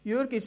Jürg